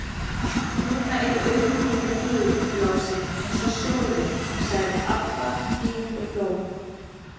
Núna eru augun í þér gul, Lási, eins og sjórinn, sagði Abba hin og hló.